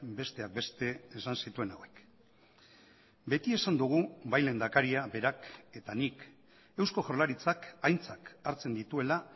besteak beste esan zituen hauek beti esan dugu bai lehendakaria berak eta nik eusko jaurlaritzak aintzat hartzen dituela